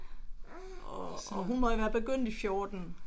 Og og hun må have været begyndt i 14